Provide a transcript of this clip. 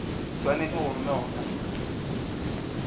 swanetše go romelwa go khansele